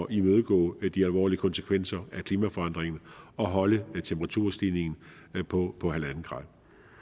imødegå de alvorlige konsekvenser af klimaforandringen og holde temperaturstigningen på en grader